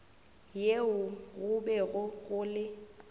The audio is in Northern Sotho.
yeo go bego go le